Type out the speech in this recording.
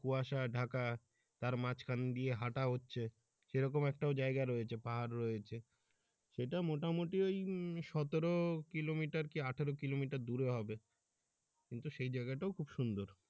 কুয়াশা ঢাকা তার মাঝখান দিয়ে হাটা হচ্ছে সেরকম একটাও জায়গা রয়েছে। পাহাড়ে রয়েছে সেটা মোটামুটি ওই সতেরো কিলোমিটার কি আঠারো কিলোমিটার দূরে হবে কিন্তু সে জায়গাটাও খুব সুন্দর।